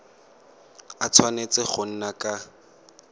a tshwanetse go nna ka